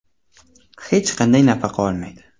Hech qanday nafaqa olmaydi.